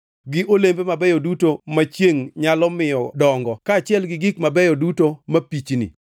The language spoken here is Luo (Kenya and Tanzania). gi olembe mabeyo duto ma chiengʼ nyalo miyo dongo kaachiel gi gik mabeyo duto mapichni;